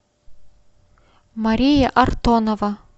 мария артонова